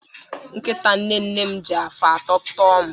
Nkịta nne nne m ji afọ atọ tọo m